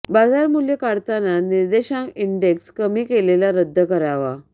बाजारमूल्य काढताना निर्देशांक इंडेक्स कमी केलेला रद्द करावा